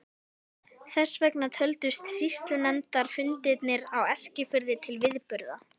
Þess vegna töldust sýslunefndarfundirnir á Eskifirði til viðburða.